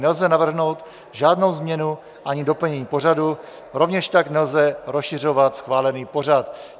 Nelze navrhnout žádnou změnu ani doplnění pořadu, rovněž tak nelze rozšiřovat schválený pořad.